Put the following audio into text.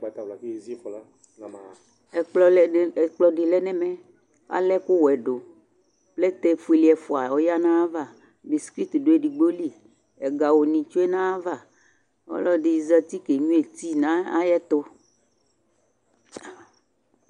Ɛkplɔ lɛ dɩ ɛkplɔdɩ lɛ n'ɛmɛ ,al'ɛkʋwɛ dʋ , plɛtɛ fuele ɛfʋa oyǝ n'ayava , biskuit dʋ edigbo li ,ɛgawʋnɩ tsue n'ayava Ɔlɔdɩ zati kenyuǝ ti n'ayɛtʋ